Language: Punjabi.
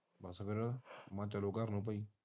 ਬਸ ਫਿਰ ਮੈਂ ਕਿਹਾ ਚਲੋ ਘਰ ਨੂੰ ਬਾਈ